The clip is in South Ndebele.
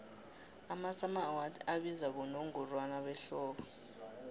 amasummer awards abizwa bonongorwana behlobo